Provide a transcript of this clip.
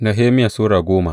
Nehemiya Sura goma